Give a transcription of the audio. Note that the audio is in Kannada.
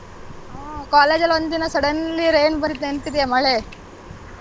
ಹಾ college ಅಲ್ಲಿ ಒಂದಿನ suddenly rain ಬಂದಿದ್ ನೆನಪಿದಿಯಾ ಮಳೆ.